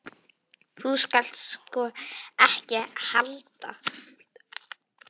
Þú skalt sko ekki halda.